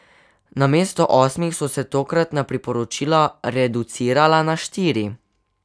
Namesto osmih so se tokratna priporočila reducirala na štiri.